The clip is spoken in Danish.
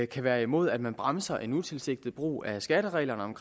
kan være imod at man bremser en utilsigtet brug af skattereglerne